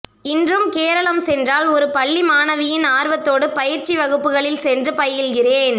இன்றும் கேரளம் சென்றால் ஒரு பள்ளி மாணவியின் ஆர்வத்தோடு பயிற்சி வகுப்புகளில் சென்று பயில்கிறேன்